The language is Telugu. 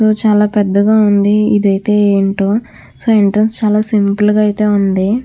చాలా పెద్ధగా ఉంది ఇదైతే ఎంటో సో ఎంట్రన్స్ అయితే చాలా సింపుల్ గా అయితే ఉంది.